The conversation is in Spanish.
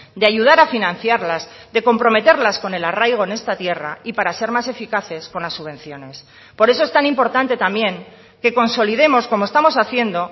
de ayudar a financiarlas de comprometerlas con el arraigo en esta tierra y para ser más eficaces con las subvenciones por eso es tan importante también que consolidemos como estamos haciendo